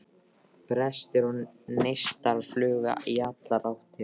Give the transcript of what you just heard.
Brestir og neistaflug í allar áttir.